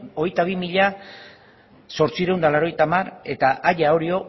hogeita bi mila zortziehun eta laurogeita hamar eta aia orio